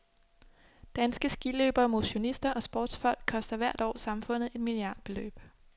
Danske skiløbere, motionister og sportsfolk koster hvert år samfundet et milliardbeløb.